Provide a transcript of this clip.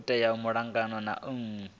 tea u ita malugana na